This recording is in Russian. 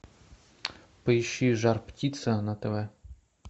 поищи жар птица на тв